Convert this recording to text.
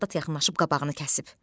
Saldat yaxınlaşıb qabağını kəsib.